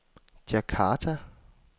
Djakarta